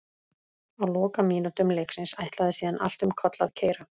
Á lokamínútum leiksins ætlaði síðan allt um koll að keyra.